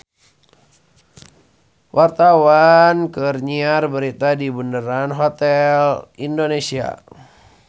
Wartawan keur nyiar berita di Bundaran Hotel Indonesia